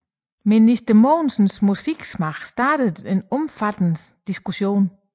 Minister Mogensens musiksmag startede en omfattende diskussion